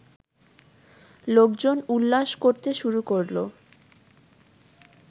লোকজন উল্লাস করতে শুরু করলো